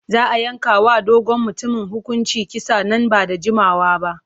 Za a yanke wa dogon mutumin hukuncin kisa nan ba da jimawa ba.